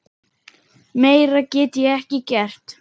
Meira get ég ekki gert.